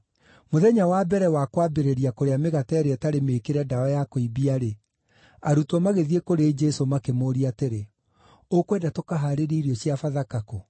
Mũthenya wa mbere wa kwambĩrĩria kũrĩa Mĩgate ĩrĩa ĩtarĩ Mĩĩkĩre Ndawa ya Kũimbia-rĩ, arutwo magĩthiĩ kũrĩ Jesũ makĩmũũria atĩrĩ, “Ũkwenda tũkahaarĩrie irio cia Bathaka kũ?”